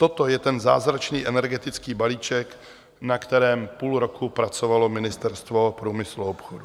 Toto je ten zázračný energetický balíček, na kterém půl roku pracovalo Ministerstvo průmyslu a obchodu.